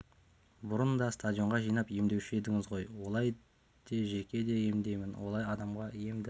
бұрын да стадионға жинап емдеуші едіңіз ғой олай де жеке де емдеймін олай адамға ем дари